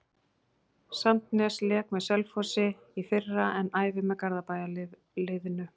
Sandnes lék með Selfossi í fyrra en æfir með Garðabæjarliðinu.